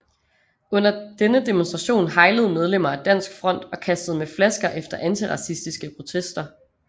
Under denne demonstration heilede medlemmer af Dansk Front og kastede med flasker efter antiracistiske protester